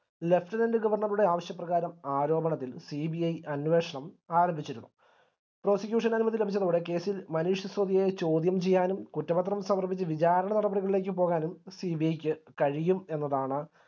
lieutenant ഗവർണറുടെ ആവശ്യപ്രകാരം ആരോപണത്തിൽ CBI അന്വേഷണം ആരംഭിച്ചിരുന്നു prosecution അനുമതി ലഭിച്ചതോടെ case ഇൽ മനീഷ് സിസോദിയെ ചോദ്യം ചെയ്യാനും കുറ്റപത്രം സമർപ്പിച് വിചാരണ നടപടികളിലേക് പോകാനും CBI ക്ക് കഴിയും എന്നതാണ്